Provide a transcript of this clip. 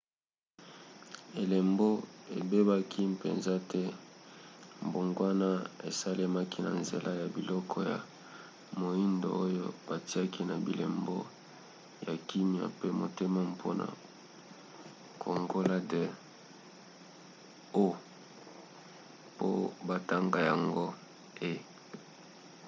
elembo ebebaki mpenza te; mbongwana esalemaki na nzela ya biloko ya moindo oyo bitiaki na bilembo ya kimia pe motema mpona kongola the o po batanga yango e